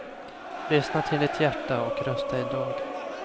Lyssna till ditt hjärta och rösta i dag.